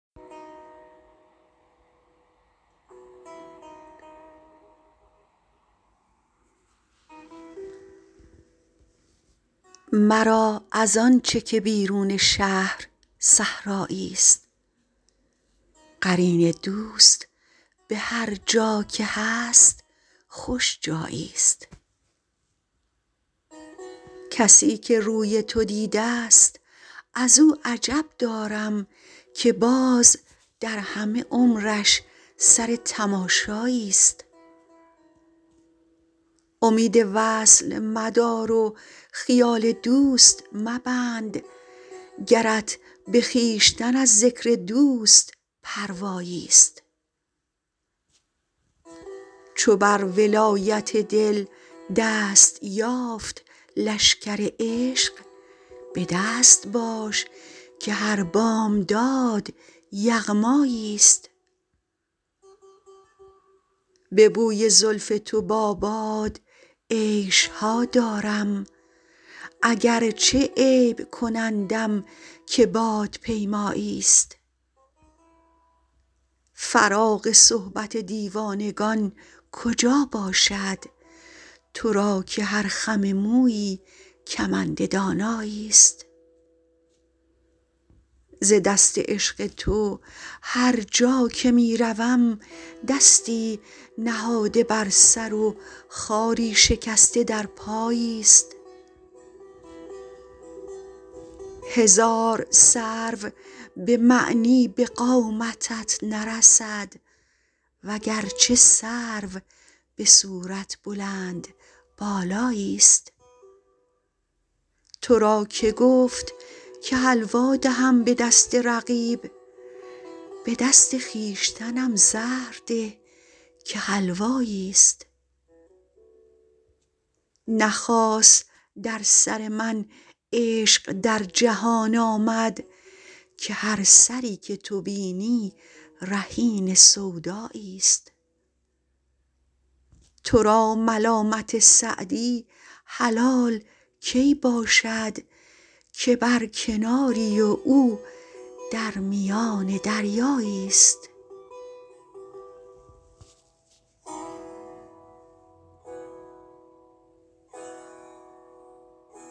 مرا از آن چه که بیرون شهر صحرایی ست قرین دوست به هرجا که هست خوش جایی ست کسی که روی تو دیده ست از او عجب دارم که باز در همه عمرش سر تماشایی ست امید وصل مدار و خیال دوست مبند گرت به خویشتن از ذکر دوست پروایی ست چو بر ولایت دل دست یافت لشکر عشق به دست باش که هر بامداد یغمایی ست به بوی زلف تو با باد عیش ها دارم اگرچه عیب کنندم که بادپیمایی ست فراغ صحبت دیوانگان کجا باشد تو را که هر خم مویی کمند دانایی ست ز دست عشق تو هرجا که می روم دستی نهاده بر سر و خاری شکسته در پایی ست هزار سرو به معنی به قامتت نرسد وگرچه سرو به صورت بلندبالایی ست تو را که گفت که حلوا دهم به دست رقیب به دست خویشتنم زهر ده که حلوایی ست نه خاص در سر من عشق در جهان آمد که هر سری که تو بینی رهین سودایی ست تو را ملامت سعدی حلال کی باشد که بر کناری و او در میان دریایی ست